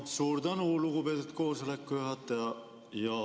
Suur tänu, lugupeetud koosoleku juhataja!